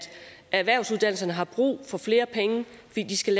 erhvervsuddannelserne har brug for flere penge fordi de skal